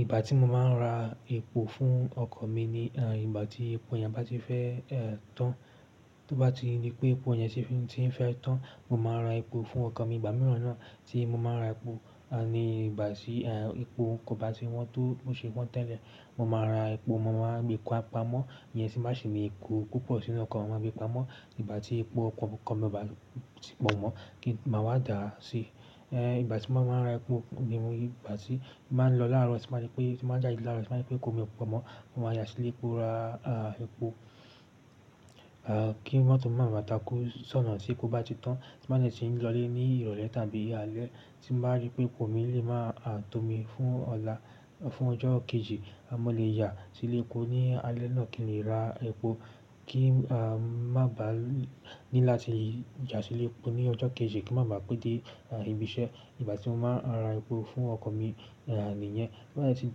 Ìgbà tí mo máa ń ra epo fún ọkọ̀ mi ni, eh, ìgbà tí epo yẹn bá ti fẹ́, ẹ́, tán. Tó bá ti rí pé epo yẹn ṣe fín tí ń fẹ́ tán, mo máa ra epo fún ọkọ̀ mi. Ìgbà mìíràn náà tí mo máa ra epo, ẹ́, ni ìgbà tí, ẹ́, epo ko bá ti wan tó bo ṣe wan tẹ́lẹ̀, mo máa ra epo, mo máa gbé pa-pamọ́. Iyẹn tì bá ṣi ni epo púpọ̀ sínú ọkọ̀, mo máa gbé pamọ́. Ìgbà tí epo ọkọ̀ ọkọ̀ mi o bá ti pọ̀ mọ́ kí n máa wá dà á sí. Eh, ìgbà tí mo máa ń ra epo ni ìgbà tí máa ń lọ láàárọ̀, tì báa rí pé-- tí bàá jáde láàárọ̀, sì máa rí pé epo mi ò pọ̀ mọ́, mo máa yá sílé kó ra, ah, epo. Ah, kí mọtó máa ba wá takú ṣọ́nà tí epo bá ti tán. Tì báa sì ti ń lọ lé ní ìrọ̀lẹ́ tàbí alẹ́. Tí mo bàá rí pé epo mi lè máa tó mi fún ọ̀la-- fún ọjọ́ kejì, a mo le yá sílé kó ni alẹ́ náà kí n lè ra epo kí, ah, má bàá ní láti yá sílé kó ní ọjọ́ kejì kí n máa pẹ́ dé, ah, ibi iṣẹ́. Ìgbà tí mo máa ra epo fún ọkọ̀ mi, ẹ́, nìyẹn. To ba dẹ̀ ti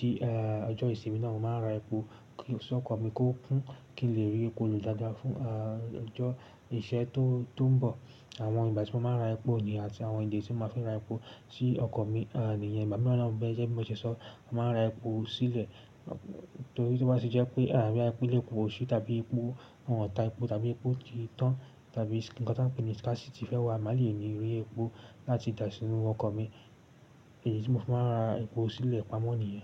dé, ẹ́, ọjọ́ ìsinmi náà, mo máa ra epo sókọ̀ mi kó kún kí n lè rí epo lò dáadáa fún, ah, ọjọ́ ìṣẹ́ tó, tó ń bọ̀. Àwọn ìgbà tí mo máa ń ra epo ni àti àwọn ìdí tí mo máa ń fẹ́ ra epo sí ọkọ̀ mi, ẹ́, nìyẹn. Ìgbà mìíràn náà gẹ́gẹ́ bí mo ṣe sọ, a máa ra epo sílẹ̀. Torí tí ó bá ti jẹ́ pé boyá lé epo sí tàbí epo-- wọn tà epo tàbí epo ti tán tàbí nnkan to n pé ní scarcity sí ti fẹ́ wá, a má lè ní rí epo láti dà sí inú ọkọ̀ mi. Èyí tí mo fẹ́ máa ra epo sílẹ̀ pamọ́ nìyẹn.